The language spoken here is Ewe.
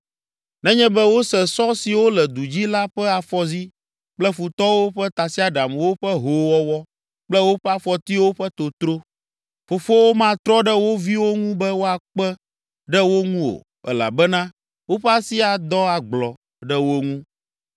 nenye be wose sɔ siwo le du dzi la ƒe afɔzi kple futɔwo ƒe tasiaɖamwo ƒe hoowɔwɔ kple woƒe afɔtiwo ƒe totro. Fofowo matrɔ ɖe wo viwo ŋu be woakpe ɖe wo ŋu o elabena woƒe asi adɔ agblɔ ɖe wo ŋu,